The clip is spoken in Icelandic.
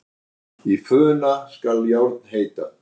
Í funa skal járn heita.